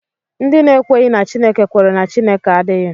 Ndị na-ekweghị na Chineke kwere na Chineke adịghị